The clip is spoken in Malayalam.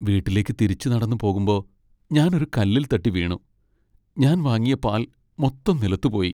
വീട്ടിലേക്ക് തിരിച്ചു നടന്നു പോകുമ്പോ, ഞാൻ ഒരു കല്ലിൽ തട്ടി വീണു. ഞാൻ വാങ്ങിയ പാൽ മൊത്തം നിലത്തു പോയി .